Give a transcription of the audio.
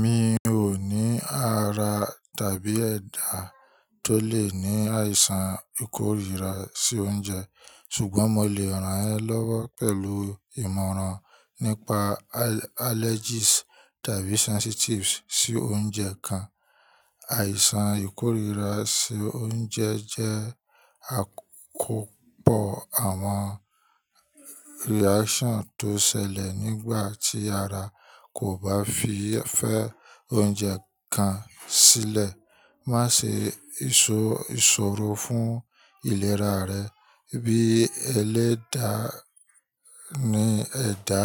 Mi ò ní ara tàbí ẹ̀dá tó lè ní àìsàn ìkórira sí oúnjẹ, ṣùgbọ́n mo lè ràn ẹ́ lọ́wọ́ pẹ̀lú ìmọ̀ràn nípa allergies tàbí sensitivities sí oúnjẹ kan. Àìsàn ìkórira sí oúnjẹ jẹ́ àkópọ̀ àwọn reactions tó ṣẹlẹ̀ nígbà tí ara kò bá fi fẹ́ oúnjẹ kan sílẹ̀. Má ṣe ìṣòro fún ìlera rẹ bí ẹlẹ́dà ni ẹ̀dá.